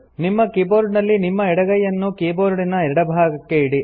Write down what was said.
ನಿಮ್ಮ ಕೀಬೋರ್ಡಿನಲ್ಲಿ ನಿಮ್ಮ ಎಡಗೈಯನ್ನು ಕೀಬೋರ್ಡಿನ ಎಡಭಾಗಕ್ಕೆ ಇಡಿ